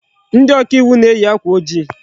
Ndị oka iwu na-eyi akwa ojii.